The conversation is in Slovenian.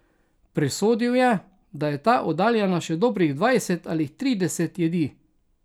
Presodil je, da je ta oddaljena še dobrih dvajset ali trideset jedi.